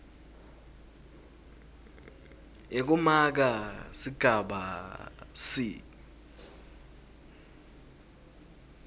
yekumaka sigaba c